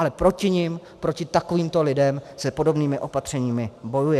Ale proti nim, proti takovýmto lidem se podobnými opatřeními bojuje.